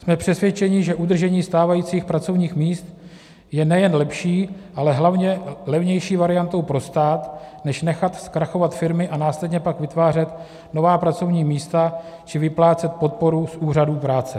Jsme přesvědčeni, že udržení stávajících pracovních míst je nejen lepší, ale hlavně levnější variantou pro stát než nechat zkrachovat firmy a následně pak vytvářet nová pracovní místa či vyplácet podporu z úřadů práce.